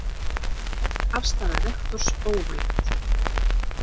Breytt afstaða rektors óvænt